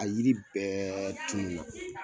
A yiri bɛɛ tunu na.